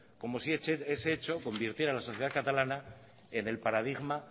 como si ese hecho convirtiera a la sociedad catalana en el paradigma